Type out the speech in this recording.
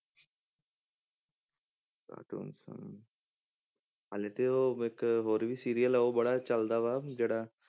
Cartoons ਹਾਂ ਹਾਲੇ ਤੇ ਉਹ ਇੱਕ ਹੋਰ ਵੀ serial ਉਹ ਬੜਾ ਚੱਲਦਾ ਵਾ ਜਿਹੜਾ,